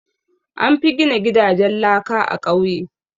An fi gina gidajen laka a ƙauye.